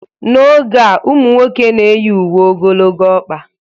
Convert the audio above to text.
N'oge a, ụmụ nwoke na-eyi uwe ogologo ọkpa